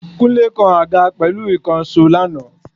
Kúnlé kan àga pẹ̀lú ìkànsó lana